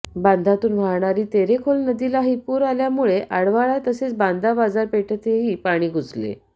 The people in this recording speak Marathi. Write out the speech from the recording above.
बांद्यातून वाहणारी तेरेखोल नदीलाही पूर आल्यामुळे आळवाडा तसेच बांदा बाजारपेठेतही पाणी घुसले